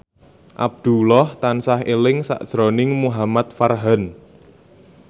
Abdullah tansah eling sakjroning Muhamad Farhan